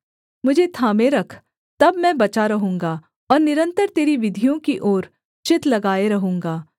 मुझे थामे रख तब मैं बचा रहूँगा और निरन्तर तेरी विधियों की ओर चित्त लगाए रहूँगा